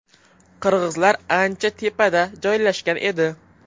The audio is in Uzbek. Qirg‘izlar ancha tepada joylashgan edi.